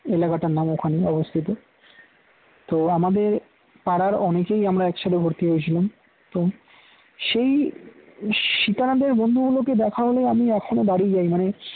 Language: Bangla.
এলাকাটার নাম ওখানে অবস্থিত তো আমাদের পাড়ার অনেকেই আমরা একসাথে ভর্তি হয়েছিলাম তো সেই সীতানাথের বন্ধুগুলোকে দেখা হলে আমি এখনো দাঁড়িয়ে যাই মানে